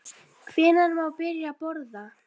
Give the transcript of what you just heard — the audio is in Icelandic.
Hvenær má byrja að borða?